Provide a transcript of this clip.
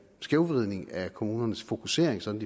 skævvridning af kommunernes fokusering sådan